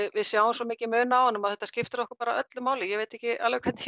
við sjáum svo mikinn mun á honum og þetta skiptir okkur bara öllu máli ég veit ekki alveg hvernig